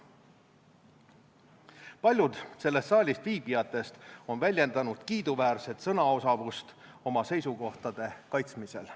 Paljud selles saalis viibijatest on väljendanud kiiduväärset sõnaosavust oma seisukohtade kaitsmisel.